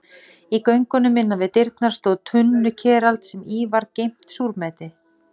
Í göngunum innan við dyrnar stóð tunnukerald sem í var geymt súrmeti.